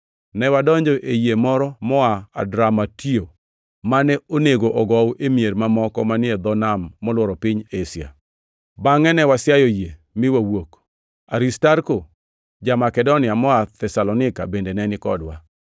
Ne wadonjo ei yie moro moa Adramutio mane onego ogow e mier mamoko manie dho nam molworo piny Asia. Bangʼe ne wasiayo yie mi wawuok. Aristarko ja-Makedonia moa Thesalonika bende ne nikodwa.